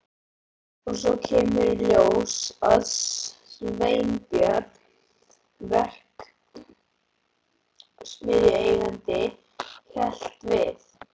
Og svo kemur í ljós að Sveinbjörn verksmiðjueigandi hélt við